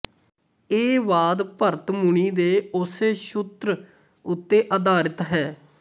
ਇਹ ਵਾਦ ਭਰਤ ਮੁਨੀ ਦੇ ਉਸੇ ਸ਼ੁਤ੍ਰ ਉਤੇ ਆਧਾਰਿਤ ਹੈ